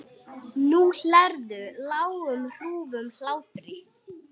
Og geiflar sig.